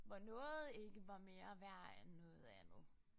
Hvor noget ikke var mere værd end noget andet